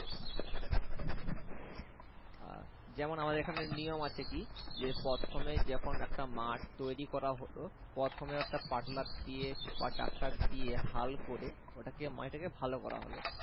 যেমন আমাদের এখানে একটা নিয়ম আছে কি? যে প্রথমে যখন একটা মাঠ তৈরী করা হলো, প্রথমে একটি পাওয়ার টিলার দিয়ে বা tractor দিয়ে হাল করে ওটাকে মানে ওটাকে ভালো করা হলো